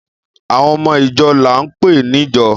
Àwon ọmọ ìjọ làún pẹ nìjọ́